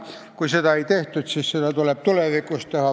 Kui seda ei tehtud, siis seda tuleb tulevikus teha.